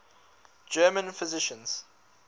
german physicians